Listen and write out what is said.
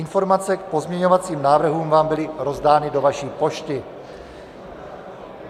Informace k pozměňovacím návrhům vám byly rozdány do vaší pošty.